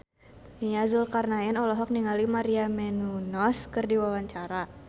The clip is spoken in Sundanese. Nia Zulkarnaen olohok ningali Maria Menounos keur diwawancara